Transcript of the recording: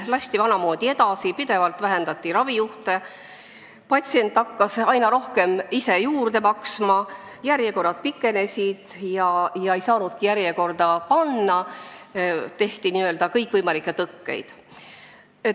Lasti vanamoodi edasi, pidevalt vähendati ravijuhtude arvu, patsient hakkas üha rohkem ise juurde maksma, järjekorrad pikenesid, inimesed ei saanudki ennast järjekorda panna, sest rajati n-ö kõikvõimalikke tõkkeid.